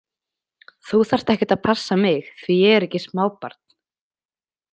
Þú þarft ekkert að passa mig því ég er ekki smábarn